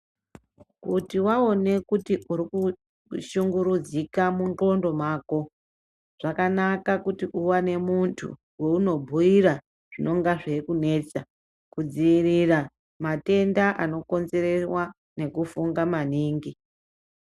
Kuti waone kuti urikushunguridzika mundxondo mako zvakanaka kuti uwane muntu weunobhiira zvinonga zveikunetsa kudziirira matenda anokonzerewa nekufunga maningi.